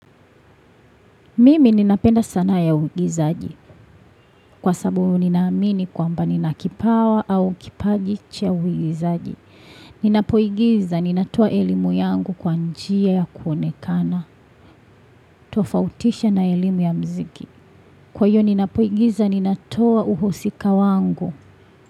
Mimi ninapenda sanaa ya uigizaji. Kwa sabu ninaamini kwamba nina kipawa au kipaji cha uigizaji. Ninapoigiza, ninatoa elimu yangu kwa njia ya kuonekana. Tofautisha na elimu ya mziki. Kwa hiyo ninapoigiza, ninatoa uhusika wangu.